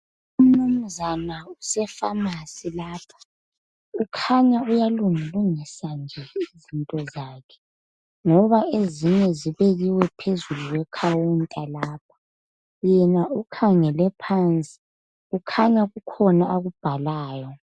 Umnumzana usefamasi lapha ukhanya uyalungilungisa nje into zakhe ngoba ezinye zibekiwe phezukwe khawunta lapho yena ukhangele phansi kukhanya kukhona akubhalayo.